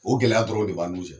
O gɛlɛya dɔrɔn de b'an n'u cɛ